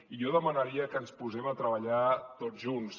i jo demanaria que ens posem a treballar tots junts